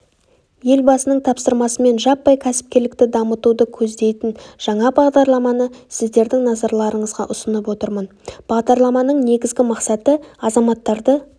елбасының тапсырмасымен жаппай кәсіпкерлікті дамытуды көздейтін жаңа бағдарламаны сіздердің назарларыңызға ұсынып отырмын бағдарламаның негізгі мақсаты азаматтарды